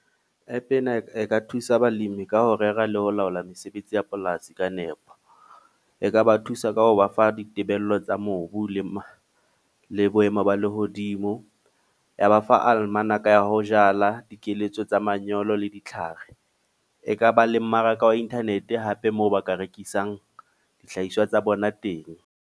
App ena eka thusa balimi ka ho rera le ho laola mesebetsi ya polasi ka nepo. E ka ba thusa ka ho ba fa ditebello tsa mobu le le boemo ba lehodimo. Ya ba fa alemanaka ya ho jala, dikeletso tsa manyolo le ditlhare. Ekaba le mmaraka wa internet hape moo ba ka rekisang dihlahiswa tsa bona teng.